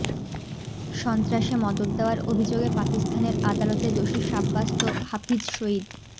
সন্ত্রাসে মদত দেওয়ার অভিযোগে পাকিস্তানের আদালতে দোষী সাব্যস্ত হাফিজ সইদ